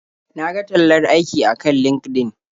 Na ga tallar aiki akan LinkedIn.